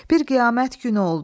Bir qiyamət günü oldu.